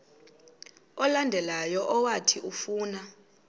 olandelayo owathi ufuna